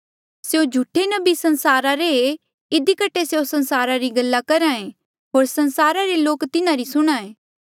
स्यों झूठे नबी संसारा रे ऐें इधी कठे स्यों संसारा री गल्ला करहा ऐें होर संसारा रे लोक तिन्हारी सुणहां